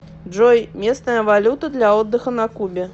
джой местная валюта для отдыха на кубе